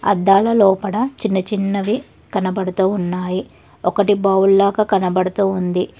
అద్దాల లోపట చిన్న చిన్నవి కనబడుతూ ఉన్నాయి ఒకటి బౌల్ లాగా కనబడుతూ ఉంది.